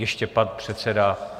Ještě pan předseda.